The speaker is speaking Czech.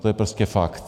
To je prostě fakt.